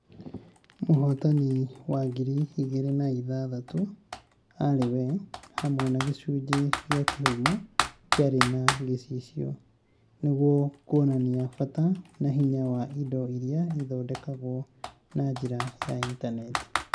mũhootani wangiri igĩrĩ na ithathatũ arĩ "Wee", hamwe na gĩcunjĩ gĩa kĩhumo kĩarĩ na gĩcicio, nĩguo kuonania bata na hinya wa indo iria ithondekagwo na njĩra ya Intaneti